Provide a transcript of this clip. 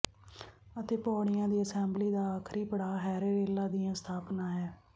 ਅਤੇ ਪੌੜੀਆਂ ਦੀ ਅਸੈਂਬਲੀ ਦਾ ਆਖਰੀ ਪੜਾਅ ਹੈਰੇਰੇਲਾਂ ਦੀ ਸਥਾਪਨਾ ਹੈ